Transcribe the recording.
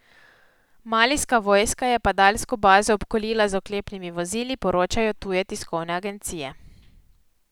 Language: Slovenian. Malijska vojska je padalsko bazo obkolila z oklepnimi vozili, poročajo tuje tiskovne agencije.